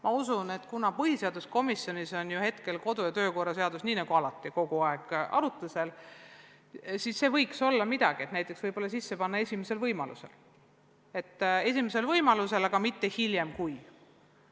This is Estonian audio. Ma usun, et kuna põhiseaduskomisjonis on kodu- ja töökorra seadus kogu aeg arutusel, siis võiks ju sinna sisse kanda täpsustuse "esimesel võimalusel, aga mitte hiljem, kui".